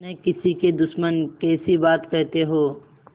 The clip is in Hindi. न किसी के दुश्मन कैसी बात कहते हो